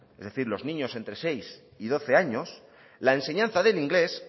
es decir los niños entre seis y doce años la enseñanza del inglés